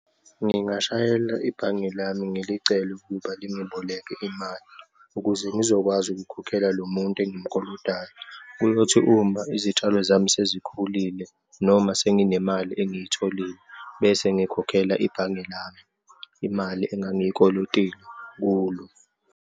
Ngingashayela ibhange lami ngilicele ukuba lingiboleke imali, ukuze ngizokwazi ukukhokhela lo muntu engimkolodayo. Kuyothi uma izitshalo zami sezikhulile, noma senginemali engiyitholile bese ngikhokhela ibhange lami imali engangiyikolotile kulo.